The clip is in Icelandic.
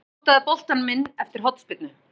Potaði boltanum inn eftir hornspyrnu.